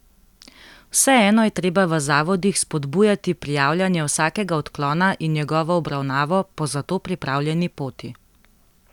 Vseeno je treba v zavodih spodbujati prijavljanje vsakega odklona in njegovo obravnavo po zato pripravljeni poti.